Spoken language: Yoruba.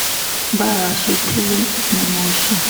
bá a ṣe délé ni mo sùn